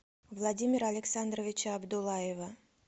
владимира александровича абдуллаева